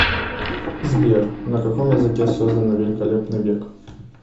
сбер на каком языке создано великолепный век